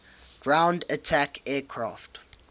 ground attack aircraft